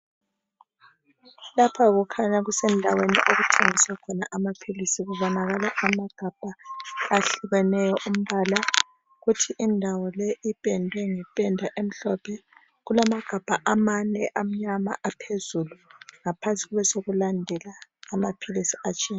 Lapha kukhanya kusendaweni okuthengiswa khona amaphilisi kubonakala amagabha ahlukeneyo umbala kuthi indawo le ipendwe ngependa emhlophe kulamagabha amane amnyama aphezulu ngaphansi kube sokulandela amaphilisi atshiyeneyo.